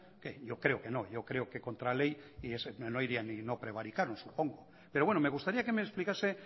yo creo que no yo creo que contra ley no irían no prevaricaron supongo pero bueno me gustaría que me explicase